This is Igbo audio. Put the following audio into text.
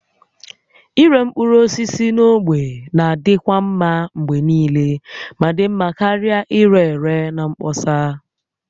Ịre mkpụrụ osisi na ogbe na-adịkwa mma mgbe niile ma dị mma karịa ire ere na mkpọsa